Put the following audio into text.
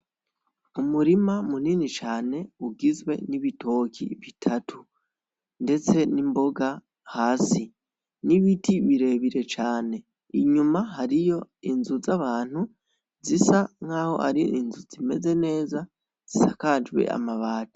Umurima munini cane ugizwe n'ibitoke bitatu ndetse n'imboga hasi, n'ibiti birebire cane inyuma hariyo inzu z'abantu zisa nkaho ari inzu zimeze neza zisakajwe amabati.